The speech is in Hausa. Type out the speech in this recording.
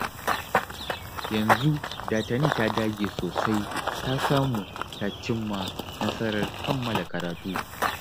Yanzu da Tani ta dage sosai ta samu ta cimma nasarar kammala karatu